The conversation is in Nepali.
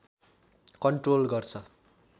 कन्ट्रोल गर्छ